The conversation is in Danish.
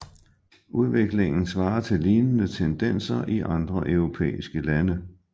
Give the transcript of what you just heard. Udviklingen svarer til lignende tendenser i andre europæiske lande